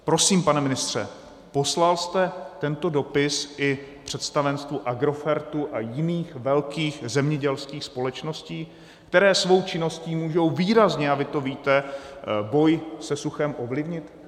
Prosím, pane ministře, poslal jste tento dopis i představenstvu Agrofertu a jiných velkých zemědělských společností, které svou činností můžou výrazně, a vy to víte, boj se suchem ovlivnit?